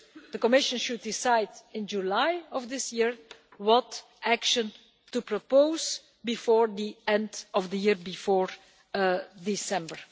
The Commission should decide in July of this year what action to propose before the end of the year, before December.